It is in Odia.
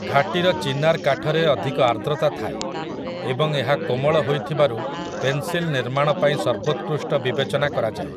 ଘାଟିର ଚିନାର୍ କାଠରେ ଅଧିକ ଆର୍ଦ୍ରତା ଥାଏ ଏବଂ ଏହା କୋମଳ ହୋଇଥିବାରୁ ପେନ୍‌ସିଲ୍ ନିର୍ମାଣ ପାଇଁ ସର୍ବୋତ୍କୃଷ୍ଟ ବିବେଚନା କରାଯାଏ ।